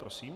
Prosím.